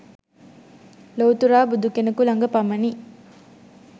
ලොව්තුරා බුදුකෙනෙකු ළඟ පමණි